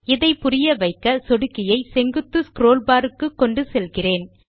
இதை புரிய வைக்க சொடுக்கியை செங்குத்து ஸ்க்ரோல் பார் க்கு கொண்டு செல்கிறேன்